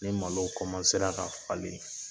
Ne malo sera ka falen